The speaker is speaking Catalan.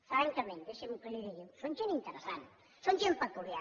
francament deixi’m que li ho digui són gent interessant són gent peculiar